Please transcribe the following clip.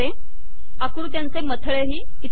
आकृत्यांचे मथळेही इथे दिसतील